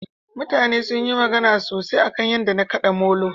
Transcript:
mutane sunyi magana sosai akan yadda na kada molo